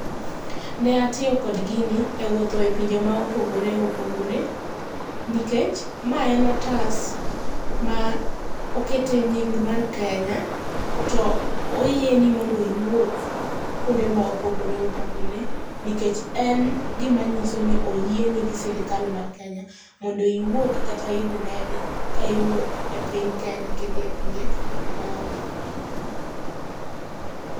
Ne atiyo kod gini ewuotho epinje ma opogore opogore. Nikech ma en otas ma okete nying mar Kenya to oyieni mondo iwuoth kuonde ma opogore opogore nikech en gima nyiso ni oyieni gi sirikal mar Kenya mondo iwuogi kata iidh ndege ka iwuok epiny Kenya ka idhi epinje maoko.